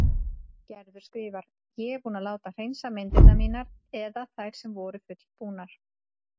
Gerður skrifar: Ég er búin að láta hreinsa myndirnar mínar eða þær sem voru fullbúnar.